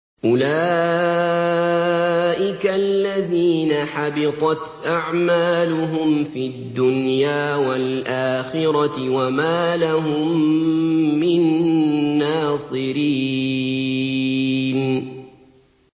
أُولَٰئِكَ الَّذِينَ حَبِطَتْ أَعْمَالُهُمْ فِي الدُّنْيَا وَالْآخِرَةِ وَمَا لَهُم مِّن نَّاصِرِينَ